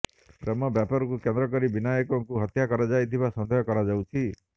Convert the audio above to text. ପ୍ରେମ ବ୍ୟାପାରକୁ କେନ୍ଦ୍ରକରି ବିନାୟକଙ୍କୁ ହତ୍ୟା କରାଯାଇଥିବା ସନ୍ଦେହ କରାଯାଉଛି